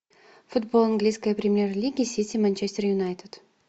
футбол английской премьер лиги сити манчестер юнайтед